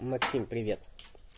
максим привет